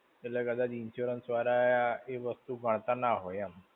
એટલે કદાચ insurance વાળા એ વસ્તુ ગણતા ના હોય, એમ.